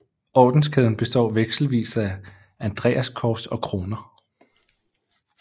Ordenskæden består vekselvis af andreaskors og kroner